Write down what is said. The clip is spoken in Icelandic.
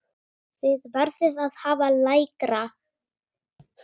Þið verðið að hafa lægra.